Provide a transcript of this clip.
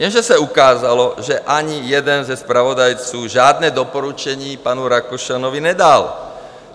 Jenže se ukázalo, že ani jeden ze zpravodajců žádné doporučení panu Rakušanovi nedal.